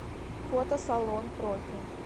фото салон профи